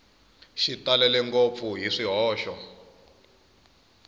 xi talele ngopfu hi swihoxo